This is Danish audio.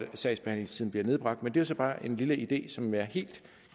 sagsbehandlingstiden blev nedbragt men det er jo så bare en lille idé som jeg helt